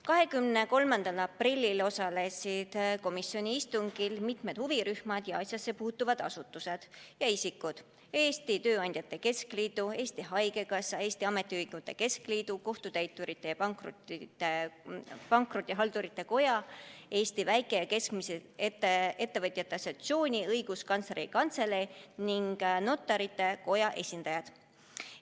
23. aprillil osalesid komisjoni istungil mitu huvirühma ning asjasse puutuvat asutust ja isikut: Eesti Tööandjate Keskliidu, Eesti Haigekassa, Eesti Ametiühingute Keskliidu, Kohtutäiturite ja Pankrotihaldurite Koja, Eesti Väike- ja Keskmiste Ettevõtjate Assotsiatsiooni, Õiguskantsleri Kantselei ning Notarite Koja esindajad.